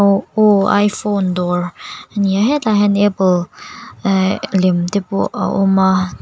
aw aw iphone dawr ani a hetlai ah hian apple ehh lem te pawh a awm a.